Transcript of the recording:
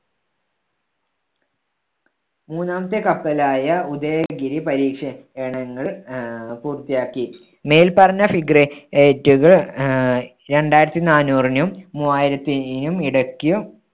മൂന്നാമത്തെ കപ്പലായ ഉദയഗിരി പരീക്ഷ~ണങ്ങൾ ആഹ് പൂർത്തിയാക്കി. മേൽപ്പറഞ്ഞ frigate കൾ ആഹ് രണ്ടായിരത്തി നാന്നൂറിനും മൂവായിരത്തിനും ഇടയ്ക്കും